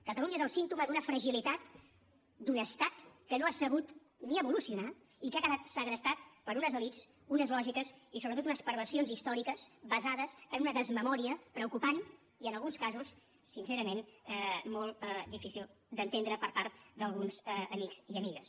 catalunya és el símptoma d’una fragilitat d’un estat que no ha sabut ni evolucionar i que ha quedat segrestat per unes elits unes lògiques i sobretot unes perversions històriques basades en una desmemòria preocupant i en alguns casos sincerament molt difícil d’entendre per part d’alguns amics i amigues